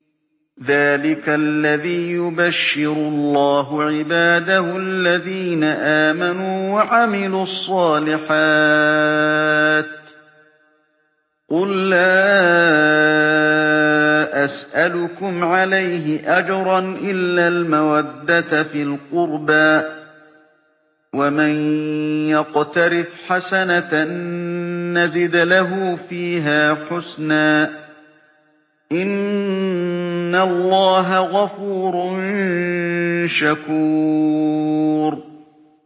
ذَٰلِكَ الَّذِي يُبَشِّرُ اللَّهُ عِبَادَهُ الَّذِينَ آمَنُوا وَعَمِلُوا الصَّالِحَاتِ ۗ قُل لَّا أَسْأَلُكُمْ عَلَيْهِ أَجْرًا إِلَّا الْمَوَدَّةَ فِي الْقُرْبَىٰ ۗ وَمَن يَقْتَرِفْ حَسَنَةً نَّزِدْ لَهُ فِيهَا حُسْنًا ۚ إِنَّ اللَّهَ غَفُورٌ شَكُورٌ